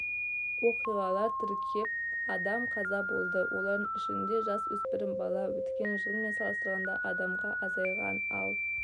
оқиғалар тіркеліп адам қаза болды олардың ішінде жасөспірім бала өткен жылмен салыстарғанда адамға азайған ал